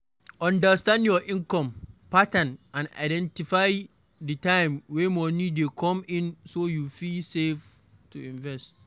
Understand your income pattern and identify di time wey money dey come in so you fit save to invest